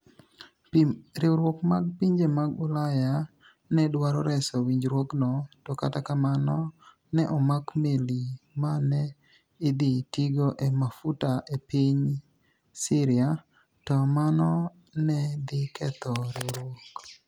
Riwruok mar pinije mag Ulaya ni e dwaro reso winijruokno, to kata kamano, ni e omak meli ma ni e idhi tigo e mafuta e piniy Syria, to mano ni e dhi ketho riwruok.